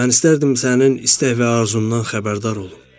Mən istərdim sənin istək və arzundan xəbərdar olum.